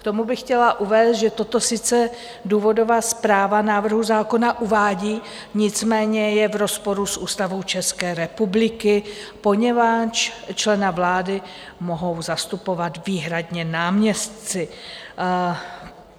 K tomu bych chtěla uvést, že toto sice důvodová zpráva návrhu zákona uvádí, nicméně je v rozporu s Ústavou České republiky, poněvadž člena vlády mohou zastupovat výhradně náměstci.